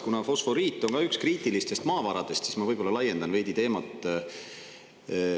Kuna fosforiit on ka üks kriitilistest maavaradest, siis ma laiendan veidi teemat.